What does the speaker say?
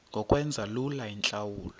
ngokwenza lula iintlawulo